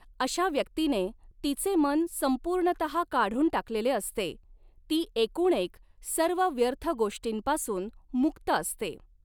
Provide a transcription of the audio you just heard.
अशा व्यक्तीने तिचे मन संपूर्णतः काढून टाकलेले असते ती एकूणएक सर्व व्यर्थ गोष्टींपासून मुक्त असते.